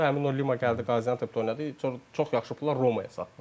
Həmin o Lima gəldi Qaziantepdə oynadı, çox yaxşı pullar Romaya satdılar.